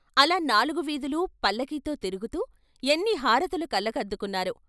అలా నాలుగు వీధులూ పల్లకీతో తిరుగుతూ ఎన్ని హారతులు కళ్ళకద్దుకున్నారో!